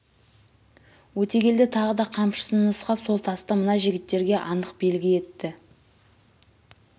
өтегелді тағы да қамшысын нұсқап сол тасты мына жігіттерге анық белгі етті